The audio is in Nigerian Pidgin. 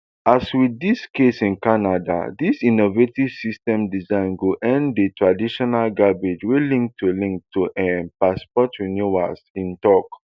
as wit di case in canada dis innovative system design go end di traditional gbege wey link to link to um passport renewals e tok